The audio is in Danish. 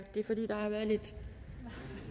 har været lidt